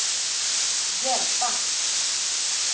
hjälpa